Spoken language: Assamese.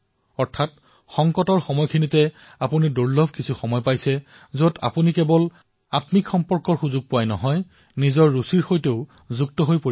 অৰ্থাৎ সংকটৰ এই সময়ছোৱাত আপোনালোকে এনে এক সময় লাভ কৰিছে যত আপোনালোকে কেৱল নিজৰ সৈতে জড়িত হোৱা নহয় বৰঞ্চ নিজৰ ইচ্ছাৰ সৈতেও জড়িত হব পাৰিব